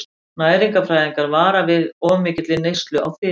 Næringarfræðingar vara því við of mikilli neyslu á fitu.